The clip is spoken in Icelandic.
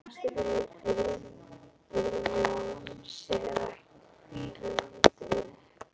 Næstu vikur undi Jón sér ekki hvíldar.